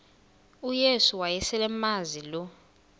uyesu wayeselemazi lo